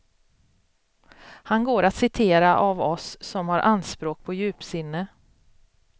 Han går att citera av oss som har anspråk på djupsinne.